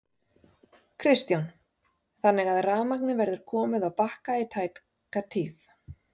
Kristján: Þannig að rafmagnið verður komið á Bakka í tæka tíð?